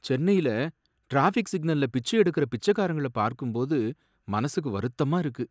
சென்னையில டிராஃபிக் சிக்னல்ல பிச்சை எடுக்கிற பிச்சைக்காரங்கள பார்க்கும்போது மனசுக்கு வருத்தமா இருக்கு.